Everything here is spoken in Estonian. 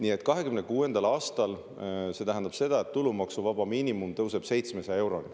See tähendab seda, et 2026. aastal tulumaksuvaba miinimum tõuseb 700 euroni.